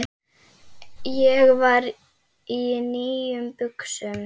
Ég var í nýjum buxum.